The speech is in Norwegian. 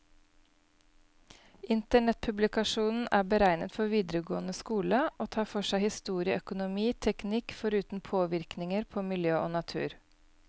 Internettpublikasjonen er beregnet for videregående skole, og tar for seg historie, økonomi, teknikk, foruten påvirkninger på miljø og natur.